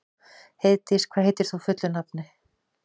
Heiðdís, hvað heitir þú fullu nafni?